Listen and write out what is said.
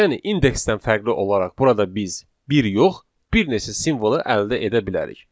Yəni indeksdən fərqli olaraq burada biz bir yox, bir neçə simvolu əldə edə bilərik.